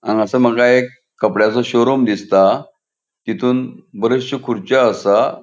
हांगासर माका एक कपडयाचो शोरूम दिसता. तीतुन बरेचशो खुर्रच्यो आसा.